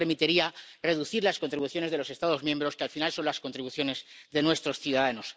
Eso permitiría reducir las contribuciones de los Estados miembros, que al final son las contribuciones de nuestros ciudadanos.